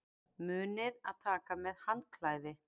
Munið að taka með handklæði!